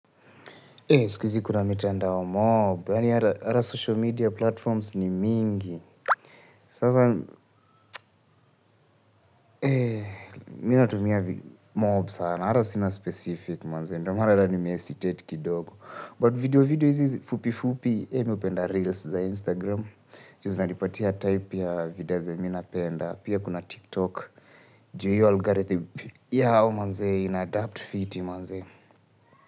Siku hizi kuna mitandao mob, yaani hata social media platforms ni mingi. Mimi natumia mob sana. Hata sina specific ndiyo maana nimehesitate kidogo, but video hizi fupifupi. Nimependa reels za Instagram. Mavida zenye mimi napenda, pia kuna tiktok juu ya hiyo algorithm yao manze, inaadapt fiti manze.